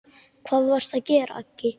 Hvað varstu að gera, Aggi.